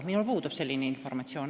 Minul puudub selline informatsioon.